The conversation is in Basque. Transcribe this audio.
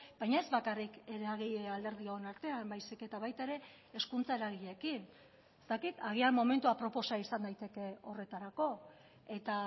baina ez bakarrik eragile alderdion artean baizik eta baita ere hezkuntza eragileekin ez dakit agian momentu aproposa izan daiteke horretarako eta